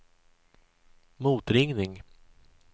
motringning